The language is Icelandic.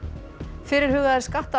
fyrirhugaðir